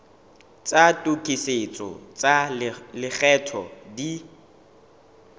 tsa tokisetso tsa lekgetho di